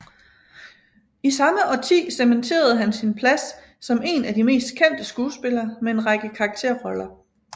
I samme årti cementerede han sin plads som en af de mest kendte skuespillere med en række karakterroller